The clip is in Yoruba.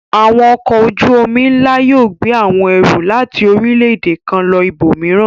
Àwọn ọkọ̀ ojú-omi ńlá yóò gbé àwọn ẹrù láti orílẹ̀-èdè kan lọ ibòmíràn.